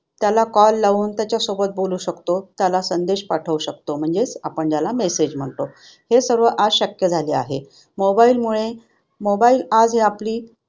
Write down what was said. त्याला call लावून त्याच्याशी बोलू शकतो त्याला संदेश पाठवू शकतो म्हणजेच आपण त्याला message म्हणतो हे सर्व आज शक्य झाले आहे. Mobile मुळे mobile आज आपली